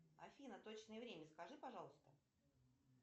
афина точное время скажи пожалуйста